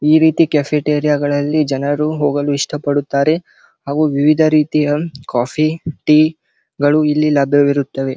ಈ ರೀತಿ ಕೆಫೆಟೇರಿಯ ಗಳಿಗೆ ಜನರು ಹೋಗಲು ಇಷ್ಟ ಪಡುತ್ತಾರೆ ಅವು ವಿವಿಧ ರೀತಿಯ ಕಾಫಿ ಟೀ ಗಳು ಇಲ್ಲಿ ಲಭ್ಯವಿರುತ್ತವೆ .